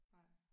Nej